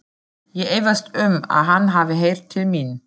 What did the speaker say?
Ég efast um, að hann hafi heyrt til mín.